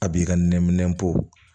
A b'i ka nɛɛ minɛ bɔ